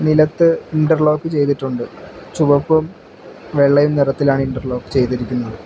നിലത്ത് ഇന്റർലോക് ചെയ്തിട്ടുണ്ട് ചുമപ്പും വെള്ളയും നിറത്തിലാണ് ഇന്റർലോക് ചെയ്തിരിക്കുന്നത്.